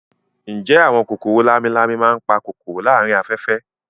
Ǹjẹ́ àwọn kòkòrò lámi-lámi máa ń pa kòkòrò láàárín afẹ́fẹ́